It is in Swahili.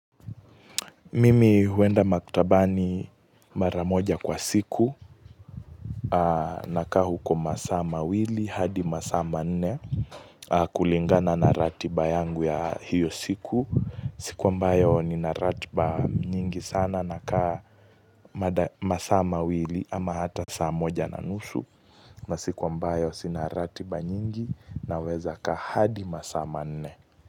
Mimi huenda maktabani mara moja kwa siku na kaa huko masaa mawili hadi masaa manne kulingana na ratiba yangu ya hiyo siku siku ambayo nina ratiba nyingi sana nakaa masaa mawili ama hata saa moja na nusu na siku ambayo sina ratiba nyingi na weza kaa hadi masaa manne.